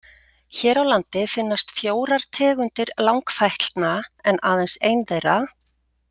Hér á landi finnast fjórar tegundir langfætlna en aðeins ein þeirra.